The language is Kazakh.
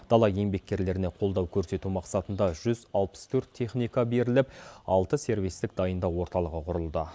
дала еңбеккерлеріне қолдау көрсету мақсатында жүз алпыс төрт техника беріліп алты сервистік дайындау орталығы құрылды